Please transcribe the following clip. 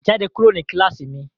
Jáde kúrò ní kíláàsì mi!